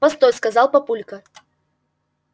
постой сказал папулька